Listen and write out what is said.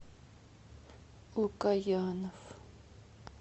лукоянов